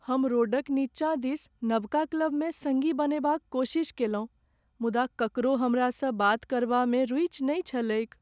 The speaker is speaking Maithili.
हम रोड क नीचा दिस नबका क्लब में सङ्गी बनएबाक कोशिश केलहुँ मुदा ककरो हमरासँ बात करबामे रूचि नहि छलैक ।